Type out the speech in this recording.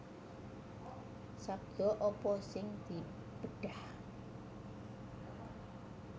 Sabda apa sing dibedhah